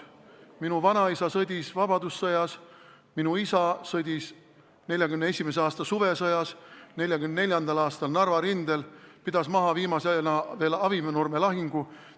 Minu vanaisa sõdis vabadussõjas, minu isa sõdis 1941. aasta suvesõjas, 1944. aastal oli Narva rindel, pidas viimasena maha veel Avinurme lahingu.